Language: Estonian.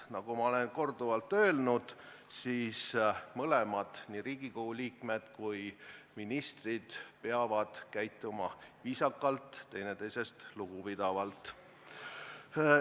Nagu ma olen korduvalt öelnud, mõlemad, nii Riigikogu liikmed kui ka ministrid, peavad käituma viisakalt ja teineteisest lugupidavalt.